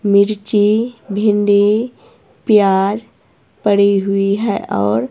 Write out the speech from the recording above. मिर्ची भिंडी प्याज पड़ी हुई है और--